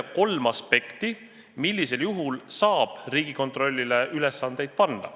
– kolm aspekti, millisel juhul saab Riigikontrollile ülesandeid panna.